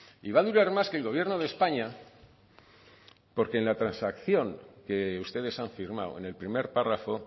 y va a durar más que el gobierno de españa porque en la transacción que ustedes han firmado en el primer párrafo